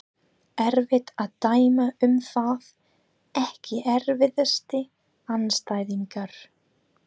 Er ekki nóg að þaðan glymji hroðaleg óp?